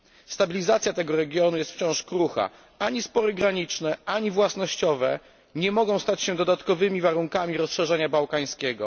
Stabilizacja tego regionu jest wciąż krucha. Ani spory graniczne ani własnościowe nie mogą stać się dodatkowymi warunkami rozszerzania bałkańskiego.